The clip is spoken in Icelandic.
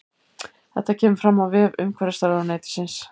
Þetta kemur fram á vef umhverfisráðuneytisins